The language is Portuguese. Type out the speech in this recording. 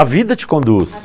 A vida te conduz.